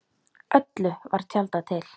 Öllu var tjaldað til.